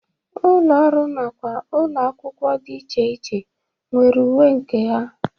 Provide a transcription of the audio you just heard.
Ụlọ ọrụ nakwa ụlọ akwụkwọ dị iche iche nwere uwe nke ha.